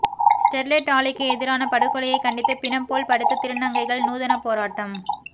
Sterlite ஆலைக்கு எதிரான படுகொலையை கண்டித்து பிணம் போல் படுத்து திருநங்கைகள் நூதன போராட்டம்